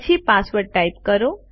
પછી password type કરો